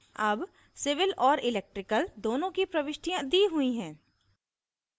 अब civil और electrical दोनों की प्रविष्टियाँ दी हुई हैं